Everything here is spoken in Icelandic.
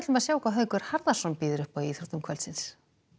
að sjá hvað Haukur Harðarson býður upp í íþróttum kvöldsins